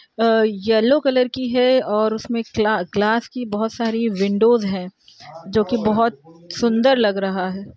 अ yellow colour की है और उसमें ग्ला ग्लास की बहोत सारी विंडोज हैं जो की बहोत सुंदर लग रहा है।